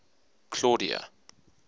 claudia